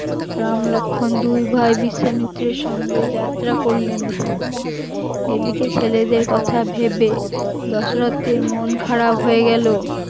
রাম লক্ষণ দুই ভাই বিশ্বমিত্রের সঙ্গে যাত্রা করলেন, এদিকে ছেলেদের কথা ভেবে দশরথের মন খারাপ হয়ে গেল